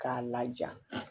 K'a laja